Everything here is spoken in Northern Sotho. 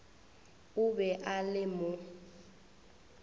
o be a le mo